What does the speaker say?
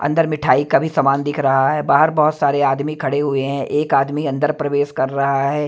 अंदर मिठाई का भी सामान दिख रहा है बाहर बहुत सारे आदमी खड़े हुए हैं एक आदमी अंदर प्रवेश कर रहा है।